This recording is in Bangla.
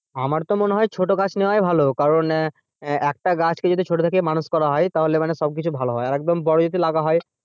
আমার তো মনে হয় ছোটো গাছ নেওয়াই ভালো কারণ আহ একটা গাছকে যদি ছোটো থেকে মানুষ করা হয় তাহলে মানে সবকিছু ভালো হয় আর একদম বড়ো যদি লাগা হয়,